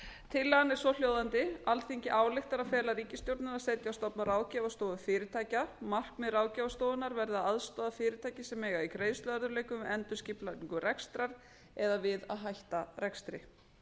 tillagan er svohljóðandi alþingi ályktar að fela ríkisstjórninni að setja á stofn ráðgjafarstofu fyrirtækja markmið ráðgjafarstofunnar verði að aðstoða fyrirtæki sem eiga í greiðsluörðugleikum við endurskipulagningu rekstrar eða við að hætta rekstri